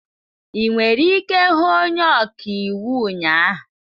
I nwere ike hụ onye ọka iwu ụnyahụ.